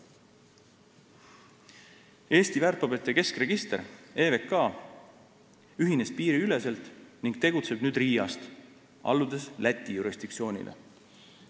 Eesti väärtpaberite keskregister EVK ühines piiriüleselt ning tegutseb nüüd Riiast, alludes Läti jurisdiktsioonile.